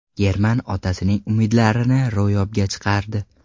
German otasining umidlarini ro‘yobga chiqardi.